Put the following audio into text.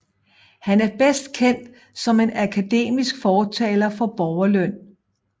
Han er bedst kendt som en akademisk fortalere for borgerløn